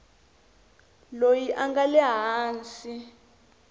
loyi a nga le hansi